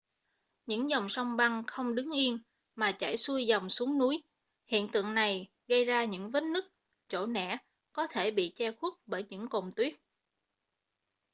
những dòng sông băng không đứng yên mà chảy xuôi dòng xuống núi hiện tượng này gây ra những vết nứt chỗ nẻ có thể bị che khuất bởi những cồn tuyết